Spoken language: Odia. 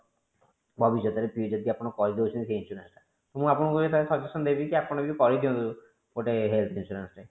ଭବିଷ୍ୟତ ରେ ଆପଣ ଯଦି କରି ଦୋଉଛନ୍ତି ସେ insurance ଟା ମୁଁ ଆପଣଙ୍କୁ ଏଇଆ suggestion ଦେବି କି ଆପଣ ବି କରି ଦିଅନ୍ତୁ ଗୋଟେ health insurance ଟେ